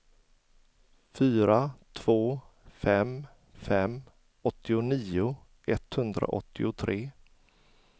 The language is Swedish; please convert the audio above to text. fyra två fem fem åttionio etthundraåttiotre